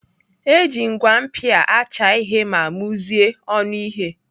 Eji ngwa mpia acha ihe ma muzie ọnụ ihe.